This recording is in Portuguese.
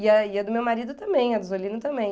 E aí a do meu marido também, a do Zolino também.